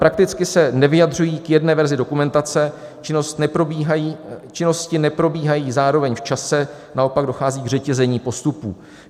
- Prakticky se nevyjadřují k jedné verzi dokumentace, činnosti neprobíhají zároveň v čase, naopak dochází k řetězení postupů.